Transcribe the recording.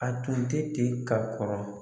A tun tɛ ten ka kɔrɔ.